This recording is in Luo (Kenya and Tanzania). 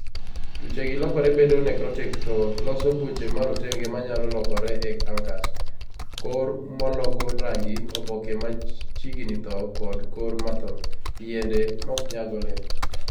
tuchegi lokore piyo bedo necrotic, to loso buche marotenge manyalo lokore e cnkers; kor moloko rangi; oboke machignni thoo kod korr mathoo; yiende moknyag olemo.